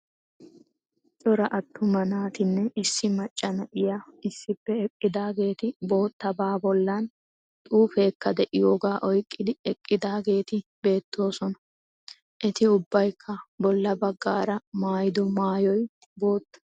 Cora attuma naatinne issi macca na"iyaa issippe eqqidaageeti boottabaa bollan xuufeekka de"iyoogaa oyqqidi eqqidaageeti beettoosona. Eti ubbaykka bolla baggaara maayido maayoy bootta.